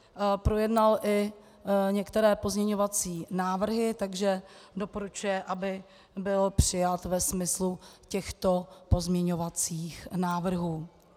Projednal i některé pozměňovací návrhy, takže doporučuje, aby byl přijat ve smyslu těchto pozměňovacích návrhů.